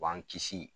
U b'an kisi